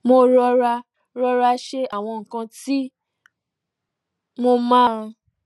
mo rọra rọra ṣe àwọn nnkan tí mo máa